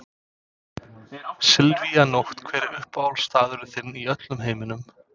Silvía Nótt Hver er uppáhaldsstaðurinn þinn í öllum heiminum?